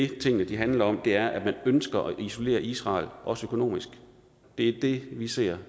tingene handler om er at man ønsker at isolere israel også økonomisk det er det vi ser